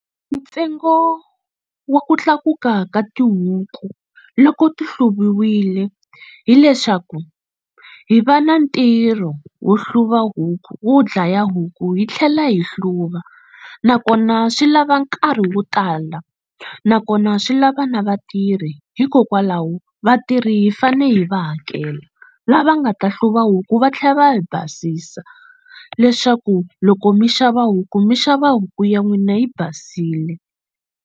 Ntsengo wa ku tlakuka ka tihuku loko ti hluviwile hileswaku hi va na ntirho wo hluva huku wo dlaya huku hi tlhela hi hluva nakona swi lava nkarhi wo tala nakona swi lava na vatirhi hikokwalaho vatirhi hi fane hi va hakela lava nga ta hluva huku va tlhela va yi basisa leswaku loko mi xava huku mi xava huku ya n'wina yi basile.